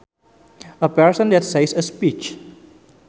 A person that says a speech